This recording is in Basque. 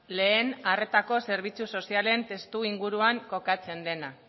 lehen arretako zerbitzu sozialen testuinguruan kokatzen dena